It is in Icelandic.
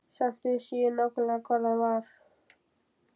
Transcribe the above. Samt vissi ég nákvæmlega hvar hann var.